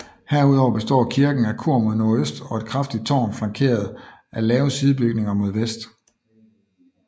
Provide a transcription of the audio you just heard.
Herudover består kirken af kor mod nordøst og et kraftigt tårn flankeret af lave sidebygninger mod vest